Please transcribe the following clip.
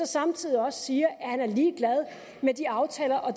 samtidig også siger at han er ligeglad med de aftaler om